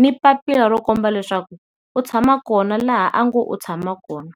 ni papila ro komba leswaku u tshama kona laha a nge u tshama kona.